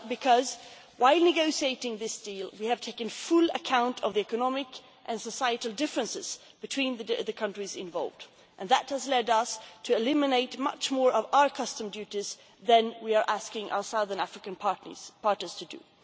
Well because, while negotiating this deal, we took full account of the economic and societal differences between the countries involved and that has led us to eliminate much more of our custom duties than we are asking our Southern African partners to do.